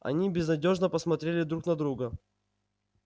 они безнадёжно посмотрели друг на друга